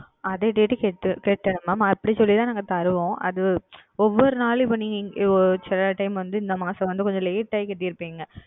அதே Date க்கு செலுத்த வேண்டும் அப்படி சொல்லி தான் நாங்கள் தருவோம் அது ஒவ்வொரு நாளும் இப்பொழுது நீங்கள் சில Time வந்து நீங்கள் வந்து கொஞ்சம் Late ஆகா செலுத்தி இருப்பீர்கள்